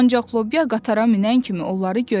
Ancaq lobya qatara minən kimi onları görmüşdü.